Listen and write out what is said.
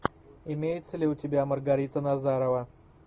имеется ли у тебя маргарита назарова